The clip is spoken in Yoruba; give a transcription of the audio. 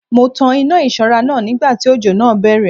Mo tan iná ìṣọ́ra náà nígbà tí òjò náà bẹ̀rẹ̀